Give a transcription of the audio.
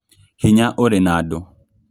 Hinya ũrĩ na andũ